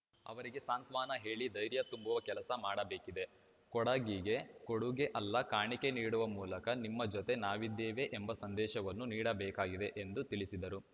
ಅವರಿಗೆ ಸಾಂತ್ವನ ಹೇಳಿ ಧೈರ್ಯ ತುಂಬುವ ಕೆಲಸ ಮಾಡಬೇಕಿದೆ ಕೊಡಗಿಗೆ ಕೊಡುಗೆ ಅಲ್ಲ ಕಾಣಿಕೆ ನೀಡುವ ಮೂಲಕ ನಿಮ್ಮ ಜೊತೆ ನಾವಿದ್ದೇವೆ ಎಂಬ ಸಂದೇಶವನ್ನು ನೀಡಬೇಕಾಗಿದೆ ಎಂದು ತಿಳಿಸಿದರು